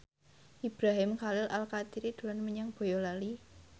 Ibrahim Khalil Alkatiri dolan menyang Boyolali